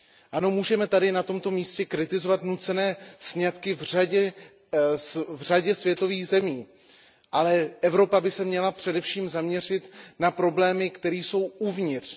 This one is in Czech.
Ano, můžeme tady na tomto místě kritizovat nucené sňatky v řadě světových zemích, ale Evropa by se měla především zaměřit na problémy, které jsou uvnitř.